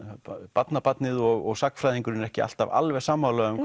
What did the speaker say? barnabarnið og sagnfræðingurinn eru ekki alltaf alveg sammála um